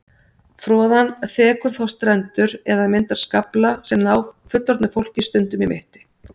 Froðan þekur þá strendur eða myndar skafla sem ná fullorðnu fólki stundum í mitti.